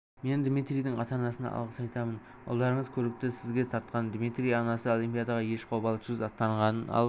мен дмитрийдің ата-анасына алғыс айтамын ұлдарыңыз көрікті сізге тартқан дмитрийдің анасы олимпиадаға еш қобалжусыз аттанғанын ал